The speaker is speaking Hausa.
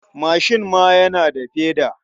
Mashin ma yana da feda.